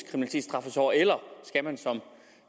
straffes hårdere eller skal man som